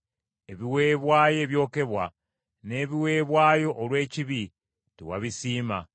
Ebiweebwayo ebyokebwa n’ebiweebwayo olw’ekibi, tewabisiima.